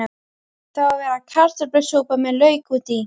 Það á að vera kartöflusúpa með lauk út í.